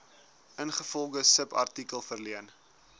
ingevolge subartikel verleen